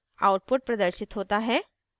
output प्रदर्शित होता है